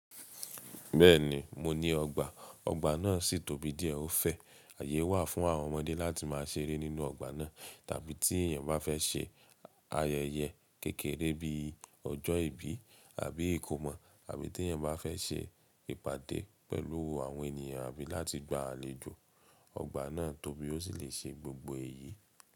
Bẹ́ẹ̀ni, mo ní ọgbà. Ọgbà náà sì tóbi díẹ̀ ó fẹ́. Àyè wà fún àwọn ọmọdé láti máa ṣeré nínú ọgbà náà. Tàbí tí èèyàn bá fẹ́ ṣe ayẹyẹ kékeré bíi ọjọ́ ìbí àbí ìkómọ àbí tí ẹ̀yàn bá fẹ́ ṣe ìpàdé pẹ̀lú àwọn ènìyàn àbí láti gba àlejò, ọgbà náà tóbi ó sì le ṣe gbogbo èyí.